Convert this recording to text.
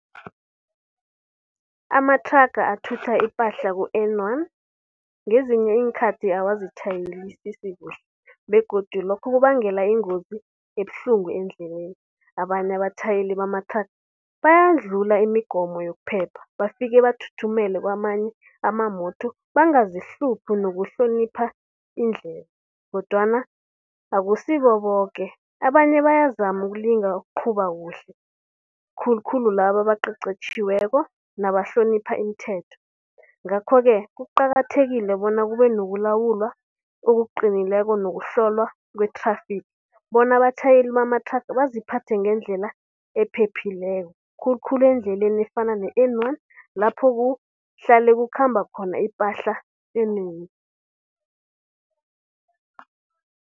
Amathraga athutha ipahla ku-N one, ngezinye iinkhathi awazitjhayelisisi kuhle begodu lokhu kubangela ingozi ebuhlungu endleleni. Abanye abatjhayeli bamathraga bayadlula imigomo yokuphepha, bafike bathuthumele kwamanye bangazihluphi nokuhlonipha indlela. Kodwana akusibo boke, abanye bayazama ukulinga ukuqhuba kuhle. Khulukhulu, laba abaqeqetjhiweko nabahlonipha imithetho. Ngakho-ke kuqakathekile bona kube nokulawulwa okuqinileko nokuhlolwa kwe-traffic bona abatjhayeli bamathraga baziphathe ngendlela ephephileko. Khulukhulu endleleni efana ne-N one lapho kuhlale kukhamba khona ipahla enengi.